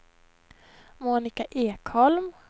Monika Ekholm